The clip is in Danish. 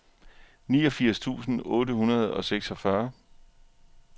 niogfirs tusind otte hundrede og seksogfyrre